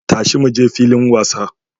Tashi muje filin wasa!